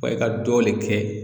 Wa i ka dɔ le kɛ